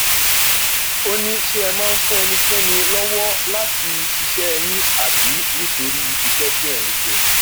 ó ní ṣé ẹ máa ń fún ẹnikẹni lọwọ láti ṣiṣẹ yín àbí nítorí iṣẹ tí ẹ ń ṣe